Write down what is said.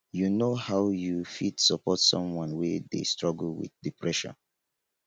you know how you fit support someone wey dey struggle wit depression